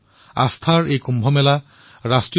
আস্থাৰ দ্বাৰা কুম্ভ ৰাষ্ট্ৰীয়তাৰ মহাকুম্ভ হওক